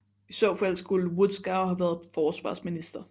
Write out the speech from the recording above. I så fald skulle Wodschow have været forsvarsminister